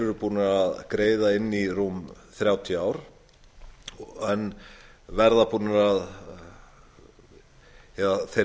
eru búnir að greiða inn í rúm þrjátíu ár en verða búnir að þeir